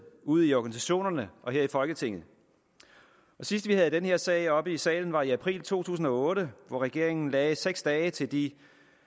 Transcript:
ude i organisationerne og her i folketinget sidst vi havde den her sag oppe i salen var i april to tusind og otte hvor regeringen lagde seks dage til de